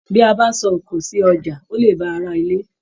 Bí a bá sọ òkò sí ọjà, o le bá ará ilé.